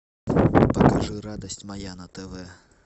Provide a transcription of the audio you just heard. покажи радость моя на тв